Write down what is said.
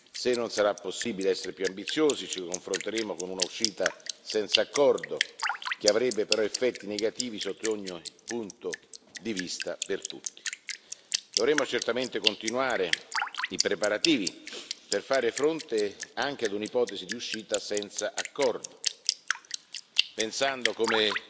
Se non sarà possibile essere più ambiziosi ci confronteremo con un'uscita senza accordo, che avrebbe però effetti negativi sotto ogni punto di vista per tutti. Dovremo certamente continuare i preparativi per fare fronte anche ad un'ipotesi di uscita senza accordo, pensando, come